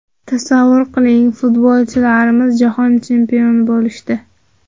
Tasavvur qiling, futbolchilarimiz jahon chempioni bo‘lishdi.